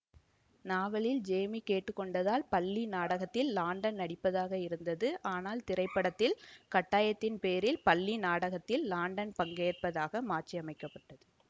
நாவலில் ஜேமீ கேட்டு கொண்டதால் பள்ளி நாடகத்தில் லாண்டன் நடிப்பதாக இருந்தது ஆனால் திரைப்படத்தில் கட்டாயத்தின் பேரில் பள்ளி நாடகத்தில் லாண்டன் பங்கேற்பதாக மாற்றியமைக்கப்பட்டது